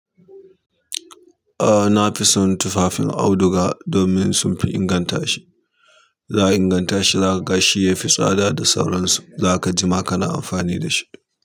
A na fi son tufafin auduga domin sunfi inganta shi. Za a inganta shi, za ka ga shi ya fi tsada da sauransu. Za ka jima kana amfani da shi.